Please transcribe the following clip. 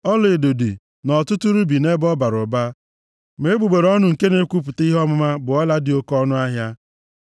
Ọlaedo dị, na ọtụtụ rubi nʼebe ọ bara ụba, ma egbugbere ọnụ nke na-ekwupụta ihe ọmụma bụ ọla dị oke ọnụahịa.